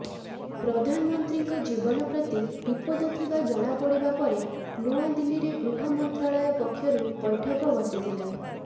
ପ୍ରଧାନମନ୍ତ୍ରୀଙ୍କ ଜୀବନ ପ୍ରତି ବିପଦ ଥିବା ଜଣାପଡ଼ିବା ପରେ ନୂଆଦିଲ୍ଲୀରେ ଗୃହ ମନ୍ତ୍ରାଳୟ ପକ୍ଷରୁ ବୈଠକ ବସିଥିଲା